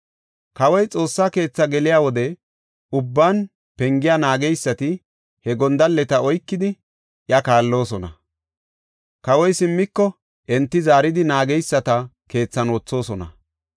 Kawoy Xoossa keethi geliya wode ubban pengiya naageysati he gondalleta oykidi iya kaalloosona. Kawoy simmiko enti zaaridi naageysata keethan wothoosona.